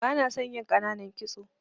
Bana son yin ƙananan kitso.